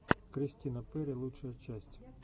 кристина перри лучшая часть